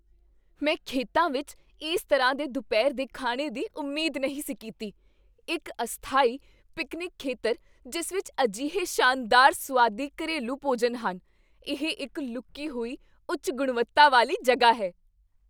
ਮੈਂ ਖੇਤਾਂ ਵਿੱਚ ਇਸ ਤਰ੍ਹਾਂ ਦੇ ਦੁਪਹਿਰ ਦੇ ਖਾਣੇ ਦੀ ਉਮੀਦ ਨਹੀਂ ਸੀ ਕੀਤੀ ਇੱਕ ਅਸਥਾਈ ਪਿਕਨਿਕ ਖੇਤਰ ਜਿਸ ਵਿੱਚ ਅਜਿਹੇ ਸ਼ਾਨਦਾਰ ਸੁਆਦੀ ਘਰੇਲੂ ਭੋਜਨ ਹਨ! ਇਹ ਇੱਕ ਲੁਕੀ ਹੋਈ ਉੱਚ ਗੁਣਵੱਤਾ ਵਾਲੀ ਜਗ੍ਹਾ ਹੈ!